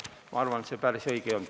Ma arvan, et see päris õige ei olnud.